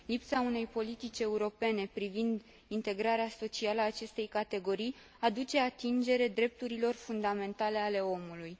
Lipsa unei politici europene privind integrarea socială a acestei categorii aduce atingere drepturilor fundamentale ale omului.